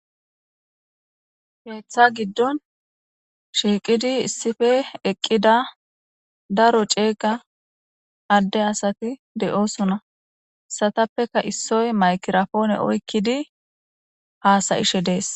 Keththa giidon issippe shiqqi diza asati dosona hessatappeka issoy mayigrappona oyqqidi hasa'she dess.